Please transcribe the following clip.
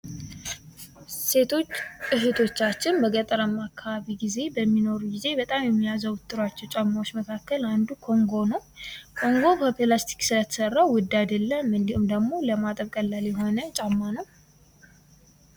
ሴቶች እህቶቻችን በገጠራማ አካባቢ ጊዜ በሚኖሩ ጊዜ በጣም ከሚያዘወትሩአቸው ጫማዎች መካከል አንዱ ኮንጎ ነው ። ኮንጎ ከብላስቲክ ስለተሰራ ውድ አይደለም ። እንዲሁም ደግሞ ለማጠብ ቀላል የሆነ ጫማ ነው ።